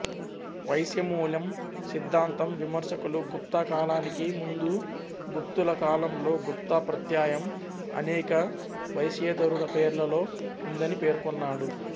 వైశ్యమూలం సిద్ధాంతం విమర్శకులు గుప్తా కాలానికి ముందూ గుప్తుల కాలంలో గుప్తా ప్రత్యయం అనేక వైశ్యేతరుల పేర్లలో ఉందని పేర్కొన్నాడు